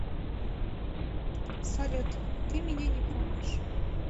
салют ты меня не помнишь